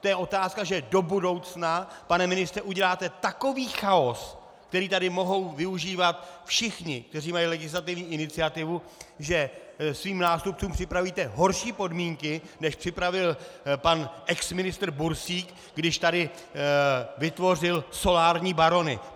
To je otázka, že do budoucna, pane ministře, uděláte takový chaos, který tady mohou využívat všichni, kteří mají legislativní iniciativu, že svým nástupcům připravíte horší podmínky, než připravil pan exministr Bursík, když tady vytvořil solární barony.